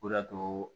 O de y'a to